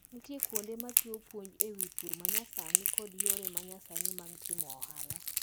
Nitiere kuonde machiwo puonj ewi pur manyasani kod yore manyasani mag timo ohala.